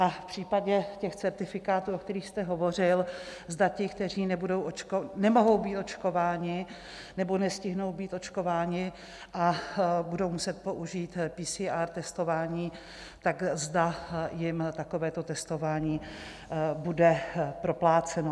A v případě těch certifikátů, o kterých jste hovořil, zda ti, kteří nemohou být očkováni nebo nestihnou být očkováni a budou muset použít PCR testování, tak zda jim takovéto testování bude propláceno.